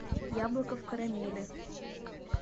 яблоко в карамели